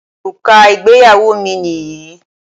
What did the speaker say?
Òrùka ìgbéyàwó mi nìyí